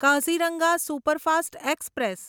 Kaziranga superfast express